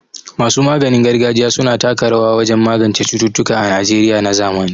Masu maganin gargajiya su na taka rawa wajen magance cututtuka a Najeriya na zamani.